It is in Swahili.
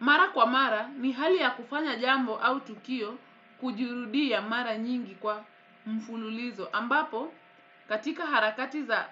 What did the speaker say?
Mara kwa mara ni hali ya kufanya jambo au tukio kujirudia mara nyingi kwa mfululizo. Ambapo katika harakati za